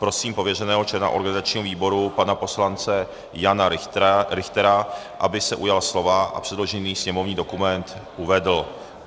Prosím pověřeného člena organizačního výboru pana poslance Jana Richtera, aby se ujal slova a předložený sněmovní dokument uvedl.